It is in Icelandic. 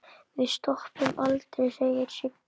Við stoppum aldrei segir Siggi.